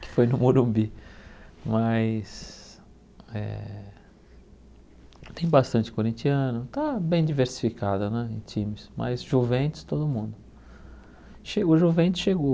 que foi no Morumbi, mas eh tem bastante corintiano, tá bem diversificada né em times, mas Juventus todo mundo. Chegou juventos chegou